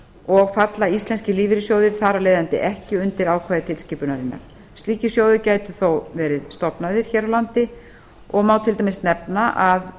og falla íslenskir lífeyrissjóðir þar af leiðandi ekki undir ákvæði tilskipunarinnar slíkir sjóðir gætu þó verið stofnaðir hér á landi og má til dæmis nefna að